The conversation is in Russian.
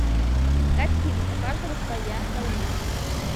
искать фильм у каждого своя война